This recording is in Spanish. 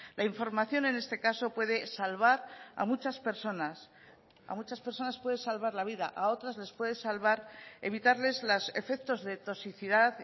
la información en este caso puede salvar a muchas personas a muchas personas puede salvar la vida a otras les puede salvar evitarles los efectos de toxicidad